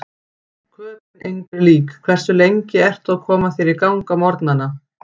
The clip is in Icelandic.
Köben engri lík Hversu lengi ertu að koma þér í gang á morgnanna?